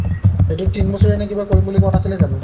এতিয়া তিন বছৰে নে কিবা কৰিম বুলি কোৱা নাছিলে জানো?